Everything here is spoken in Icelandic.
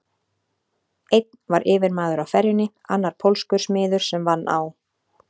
Einn var yfirmaður á ferjunni, annar pólskur smiður sem vann á